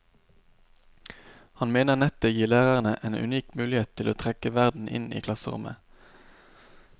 Han mener nettet gir lærerne en unik mulighet til å trekke verden inn i klasserommet.